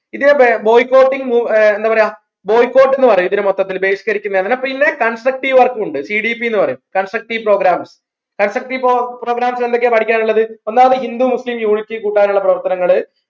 ഇതേ boycotting move എന്താ പറയാ Boycott ന്ന് പറയും ഇതിന് മൊത്തത്തിൽ ബഹിഷ്കരിക്കുന്നതിന് പിന്നെ constructive work ക്കും ഉണ്ട് CDP ന്ന് പറയും constructive program constructive program എന്തൊക്കെയാ പഠിക്കാൻ ഉള്ളത് ഒന്നാമത് ഹിന്ദു മുസ്ലിം unity കൂട്ടാനുള്ള പ്രവർത്തനങ്ങൾ